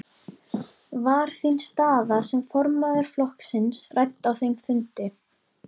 Var þín staða sem formaður flokksins rædd á þeim fundi?